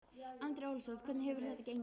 Andri Ólafsson: Hvernig hefur þetta gengið?